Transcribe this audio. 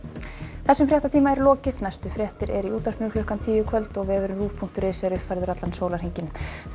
þessum fréttatíma er lokið næstu fréttir eru í útvarpinu klukkan tíu í kvöld og vefurinn ruv punktur is er uppfærður allan sólarhringinn takk